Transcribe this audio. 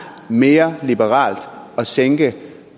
mere liberalt at sænke